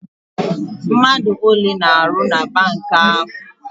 Mmadụ ole na-arụ na bank ahụ?